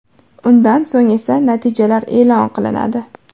Undan so‘ng esa natijalar e’lon qilinadi.